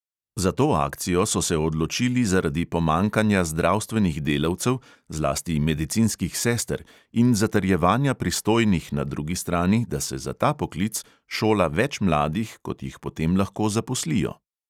Za to akcijo so se odločili zaradi pomanjkanja zdravstvenih delavcev, zlasti medicinskih sester, in zatrjevanja pristojnih na drugi strani, da se za ta poklic šola več mladih, kot jih potem lahko zaposlijo.